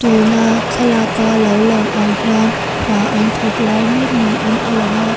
tuna thlalak a lo lang ang hian hna an thawk lai mek niin a lang a--